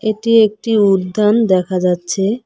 এটি একটি উদ্যান দেখা যাচ্ছে।